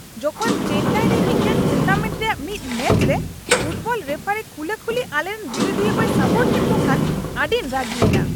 ᱡᱚᱠᱷᱚᱱ ᱪᱮᱱᱱᱟᱭ ᱨᱮ ᱢᱤᱫᱴᱟᱝ ᱴᱩᱨᱱᱟᱢᱮᱱᱴ ᱨᱮᱭᱟᱜ ᱢᱤᱫ ᱢᱮᱪ ᱨᱮ ᱯᱷᱩᱴᱵᱚᱞ ᱨᱮᱯᱷᱟᱨᱤ ᱠᱷᱩᱞᱟᱹᱠᱷᱩᱞᱤ ᱟᱞᱮᱨᱮᱱ ᱵᱤᱨᱩᱫᱷᱤᱭᱟᱹ ᱠᱚᱭ ᱥᱟᱯᱳᱨᱴ ᱠᱮᱫ ᱠᱚ ᱠᱷᱟᱱ ᱟᱹᱰᱤᱧ ᱨᱟᱹᱜᱤᱭᱮᱱᱟ ᱾